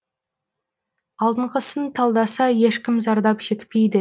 алдынғысын талдаса ешкім зардап шекпейді